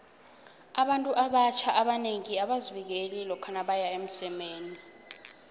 abantu abatjna abanengi abazivikeli lokha nabeya emsemeni